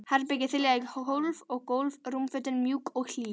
Herbergið þiljað í hólf og gólf, rúmfötin mjúk og hlý.